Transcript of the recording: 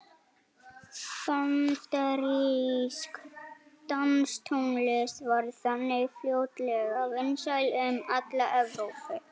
Bandarísk danstónlist varð þannig fljótlega vinsæl um alla Evrópu.